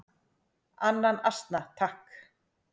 """Annan asna, takk!"""